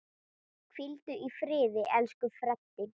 Hvíldu í friði, elsku Freddi.